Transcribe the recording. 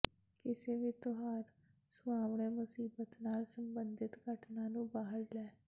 ਕਿਸੇ ਵੀ ਤਿਉਹਾਰ ਸੁਹਾਵਣਾ ਮੁਸੀਬਤਾ ਨਾਲ ਸੰਬੰਧਿਤ ਘਟਨਾ ਨੂੰ ਬਾਹਰ ਲੈ